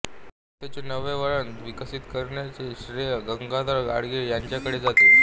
कथेचे नवे वळण विकसित करण्याचे श्रेय गंगाधर गाडगीळ यांचेकडे जाते